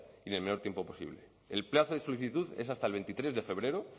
en el menor tiempo posible el plazo de solicitud es hasta el veintitrés de febrero